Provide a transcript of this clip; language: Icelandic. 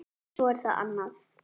En svo er það annað.